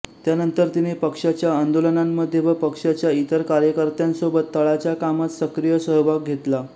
त्यानंतर तिने पक्शाच्या आंदोलनांमध्ये व पक्शाच्या ईतर कार्यकर्त्यांसोबत तळाच्या कामात सक्रीय सहभाग घेतला